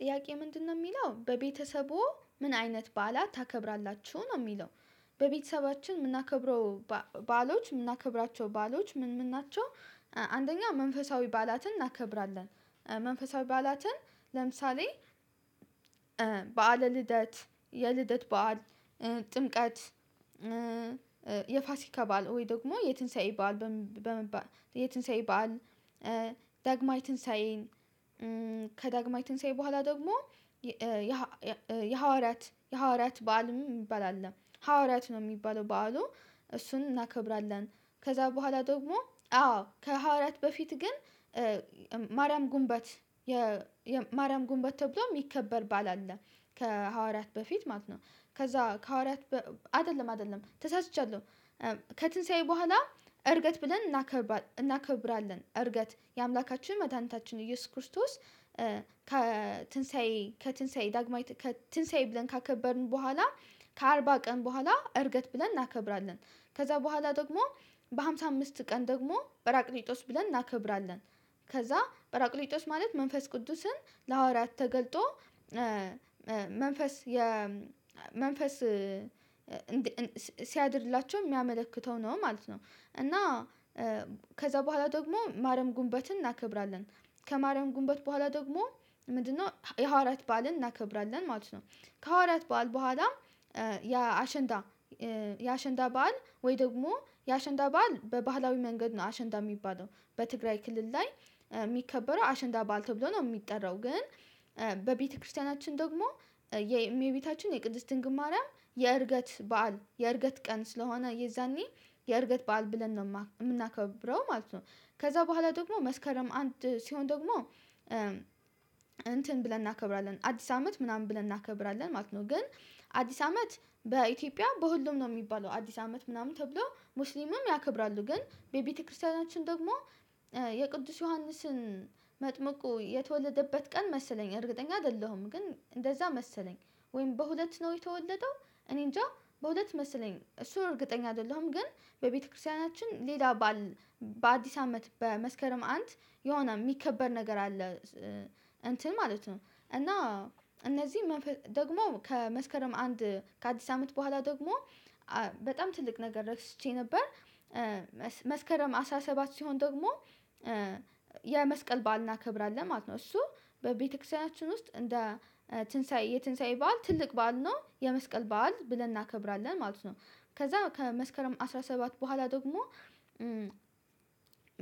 ጥያቄ ምንድነው የሚለው በቤተሰቡ ምን አይነት በዓላት ታከብራላችሁ? ነው የሚለው በቤተሰባችን የምናከብረው ባዕሎች የምናከብራቸው ባዕሎች ምን ምን ናቸው አንደኛ መንፈሳዊ በዓላትን እናከብራለን። መንፈሳዊ በዓላትን ለምሳሌ በዓለ ልደት፣ የልደት በዓል፣ ጥምቀት የፋሲካ በዓል ወይ ደግሞ የትንሳኤ በዓል በመባል የትንሳኤ በዓል ዳግማዊ ትንሳኤን ከዳግማዊ ትንሳኤ በኋላ ደግሞ የሐዋርያት የሐዋርያት በዓልም የሚባል አለ ሐዋርያት ነው የሚባለው በዓሉ። እሱን እናከብራለን ከዛ በኋላ ደግሞ አዎ ከሐዋርያት በፊት ግን ማርያም ጉንቦት የማርያም ጉንቦት ተብሎም የሚከበር ባእል አለ ከሐዋርያት በፊት ማለት ነው ከዛ ከሐዋርያት አይደለም አይደለም ተሳስቻለሁ። ከትንሳኤ በኋላ እርገት ብለን እናከብራለን። እርገት የአምላካችን መድኃኒታችን ኢየሱስ ክርስቶስ ከትንሳኤ ከትንሳኤ ዳግማይ ከትንሳኤ ብለን ካከበርን በኋላ ከአርባ ቀን በኋላ እርገት ብለን እናከብራለን። ከዛ በኋላ ደግሞ በሃምሳ አምስት ቀን ደግሞ በራቅሊጦስ ብለን እናከብራለን። ከዛ በራቅሊጦስ ማለት መንፈስ ቅዱስን ለሐዋርያት ተገልጦ መንፈስ የ መንፈስ ሲያድርላቸው የሚያመለክተው ነው ማለት ነው። እና ከዛ በኋላ ደግሞ ማረም ጉንቦትን እናከብራለን ከማረም ጉንቦት በኋላ ደግሞ ምንድነው የሐዋርያት በዓልን እናከብራለን ማለት ነው። ከሐዋርያት በዓል በኋላም የአሸንዳ የአሸንዳ በዓል ወይ ደግሞ የአሸንዳ በዓል በባህላዊ መንገድ ነው አሸንዳ የሚባለው። በትግራይ ክልል ላይ የሚከበረው አሸንዳ ባእል ተብሎ ነው የሚጠራው። ግን በቤተክርስቲያናችን ደግሞ የእመቤታችን የቅድስትን ድንግልማርያም የእርገት በዓል የእርገት ቀን ስለሆነ የዛኔ የእርገት በዓል ብለን ነው የምናከብረው ማለት ነው። ከዛ በኋላ ደግሞ መስከረም አንድ ሲሆን ደግሞ እንትን ብለን እናከብራለን አዲስ አመት ምናምን ብለን እናከብራለን ማለት ነው። ግን አዲስ አመት በኢትዮጵያ በሁሉም ነው የሚባለው አዲስ አመት ምናምን ተብሎ ሙስሊምም ያከብራሉ ግን በቤተክርስቲያናችን ደግሞ የቅዱስ ዮሐንስን መጥምቁ የተወለደበት ቀን መሰለኝ እርግጠኛ አይደለሁም። ግን እንደዛ መሰለኝ ወይም በሁለት ነው የተወለደው እኔእንጃ በሁለት መሰለኝ እሱን እርግጠኛ አይደለሁም። ግን በቤተክርስቲያናችን ሌላ ባእል አዲስ አመት በመስከረም አንድ የሆነ የሚከበር ነገር አለ። እንትን ማለት ነው። እና እነዚህ ደግሞ ከመስከረም አንድ ከአዲስ አመት በኋላ ደግሞ በጣም ትልቅ ነገር እረስቼ ነበር መስከረም አስራሰባት ሲሆን ደግሞ የመስቀል በዓል እናከብራለን ማለት ነው። እሱ በቤተክርስቲያናችን ውስጥ እንደ ትንሳኤ የትንሳኤ በዓል ትልቅ በዓል ነው የመስቀል ባእል ብለን እናከብራለን ማለት ነው። ከዛ ከመስከረም አስራ ሰባት በኋላ ደግሞ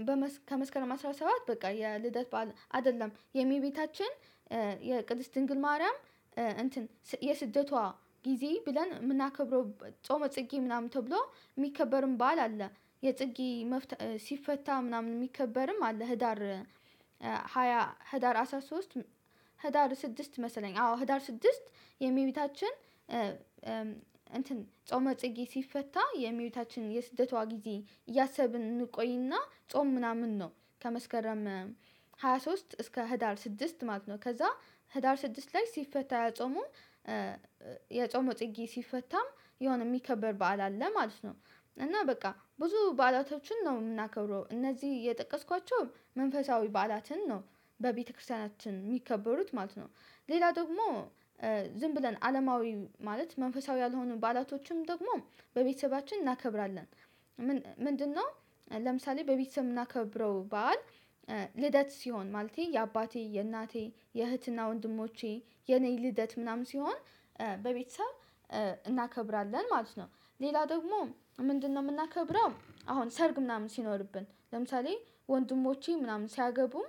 በመስ ከመስከረም አስራ ሰባት በቃ የልደት በዓል አይደለም የመቤታችን የቅድስት ድንግል ማርያም እንትን የስደቷ ጊዜ ብለን የምናከብረው ጾመ ጽጌ ምናምን ተብሎ የሚከበርም ባእል አለ። የጽጌ መፍታት ሲፈታ ምናምን የሚከበርም አለ። ህዳር ሃያ ህዳር አስራ ሶስት ህዳር ስድስት መሰለኝ አዎ ህዳር ስድስት የመቤታችን እንትን ጾመ ጽጌ ሲፈታ የመቤታችን የስደቷ ጊዜ እያሰብን እንቆይና ጾም ምናምን ነው ከመስከረም ሃያ ሶስት እስከ ህዳር ስድስት ማለት ነው። ከዛ ህዳር ስድስት ላይ ሲፈታ ጾሙ የጾመ ጽጌ ሲፈታ የሆነ የሚከበር በዓል አለ ማለት ነው። እና በቃ ብዙ በዓላቶችን ነው የምናከብረው። እነዚህ የጠቀስኳቸውን መንፈሳዊ በዓላትን ነው። በቤተክርስቲያናችን የሚከበሩት ማለት ነው። ሌላ ደግሞ ዝም ብለን አለማዊ ማለት መንፈሳዊ ያልሆኑ ባዕላቶችን ደግሞ በቤተሰባችን እናከብራለን ምንድነው ለምሳሌ በቤተሰብ የምናከብረው በዓል ልደት ሲሆን ማለቴ የአባቴ፣ የእናቴ፣ የእህት እና ወንድሞቼ የኔ ልደት ምናምን ሲሆን በቤተሰብ እናከብራለን ማለት ነው። ሌላ ደግሞ ምንድነው የምናከብረው አሁን ሰርግ ምናምን ሲኖርብን ለምሳሌ ወንድሞቼ ምናምን ሲያገቡም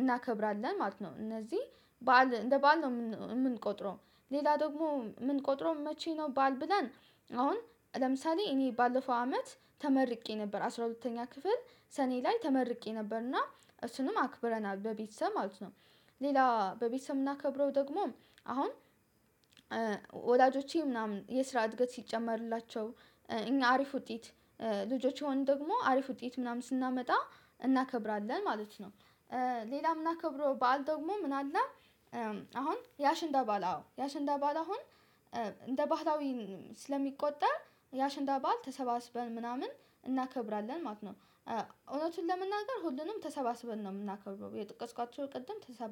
እናከብራለን ማለት ነው። እነዚህ በዓል እንደ በዓል ነው የምንቆጥረው። ሌላ ደግሞ ምንቆጥረው መቼ ነው ባእል ብለን አሁን ለምሳሌ እኔ ባለፈው አመት ተመርቄ ነበር አስራ ሁለተኛ ክፍል ሰኔ ላይ ተመርቄ ነበር እና እሱንም አክብረናል በቤተሰብ ማለት ነው። ሌላ በቤተሰብ የምናከብረው ደግሞ አሁን ወላጆቼ ምናምን የስራ እድገት ሲጨመርላቸው፣ እኛ አሪፍ ውጤት ልጆችየሆንን ደግሞ አሪፍ ውጤት ምናምን ስናመጣ እናከብራለን ማለት ነው። ሌላ ምን የምናከብረው በዓል ደግሞ ምን አለ አሁን የሸንዳ ባዓል አዎ የሸንዳ ባእል አሁን እንደ ባህላዊ ስለሚቆጠር የሸንዳ ባእል ተሰባስበን ምናምን እናከብራለን ማለት ነው። እውነቱን ለመናገር ሁሉንም ተሰባስበን ነው የምናከብረው የጠቀስኳቸውን ቅድም ተሰባስበን